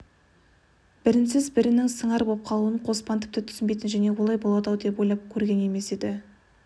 бірінсіз бірінің сыңар болып қалуын қоспан тіпті түсінбейтін және олай болады-ау деп ойлап та көрген емес еді